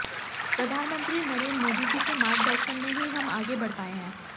प्रधानमंत्री नरेंद्र मोदी जी के मार्गदर्शन में ही हम आगे बढ पाए हैं